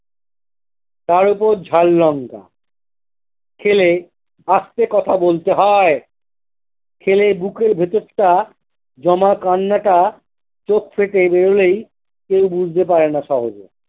তার উপর ঝাল লঙ্কা খেলে আস্তে কথা বলতে হয় খেলে বুকের ভেতরটা জমা কান্নাটা চোখ ফেটে বেরোলেই কেউ বুঝতে পারেনা সহজে।